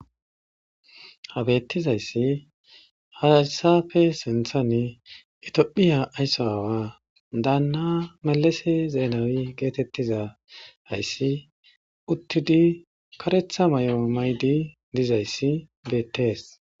habettizayssi hayssafe sinthani itiophiya ayssa aawa daanna malase zeenawi geetettiza ayssi uttidi karetha may7o maydi dizayssi beettees